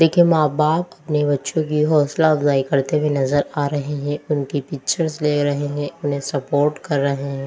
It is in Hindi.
देखिए मां-बाप अपने बच्चों की हौसला अफजाई करते हुए नजर आ रहे हैं उनकी पिक्चर्स ले रहे हैं उन्हें सपोर्ट कर रहे हैं।